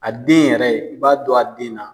A den yɛrɛ,i b'a dɔn a den na.